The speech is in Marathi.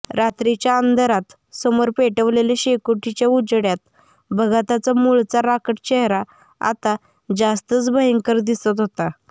रात्रीच्या अंधारात समोर पेटवलेल्या शेकोटीच्या उजेडात भगाताचा मुळचा राकट चेहरा आता जास्तच भंयकर दिसत होता